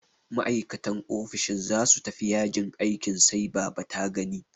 Ma'aikatan ofishin za su tafi yajin aikin sai baba ta gani.